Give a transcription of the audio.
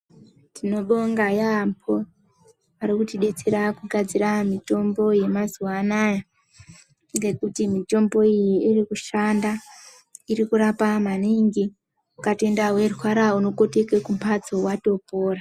Tinobonga yaampho varikutidetsera kugadzira mitombo yemazuwa anaya ngekuti mitombo iyi iri kushanda irikurapa maningi ukatoenda werwara unokotoke kumphatso watobora.